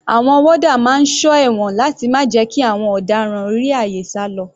Àwọn warder máa ń sọ ẹ̀wọ̀n láti má jẹ́ kí àwọn ọ̀daràn rí àyè sálọ.